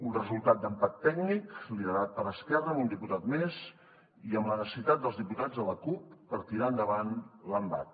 un resultat d’empat tècnic liderat per esquerra amb un diputat més i amb la necessitat dels diputats de la cup per tirar endavant l’embat